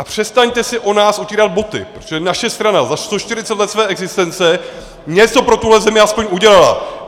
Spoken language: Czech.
A přestaňte si o nás utírat boty, protože naše strana za 140 let své existence něco pro tuhle zemi aspoň udělala.